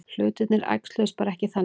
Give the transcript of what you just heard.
Hlutirnir æxluðust bara ekki þannig.